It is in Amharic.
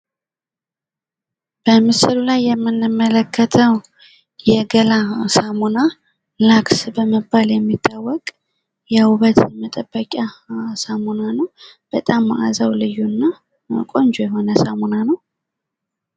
በምስሉ ላይ የምንመለከተው የገላ ሳሙና ላክስ በመባል የሚታወቅ የውበት መጠበቂያ ሳሞና ነው ። በጣም ማእዛው ልዩ እና ቆንጆ የሆነ ሳሞና ነው ።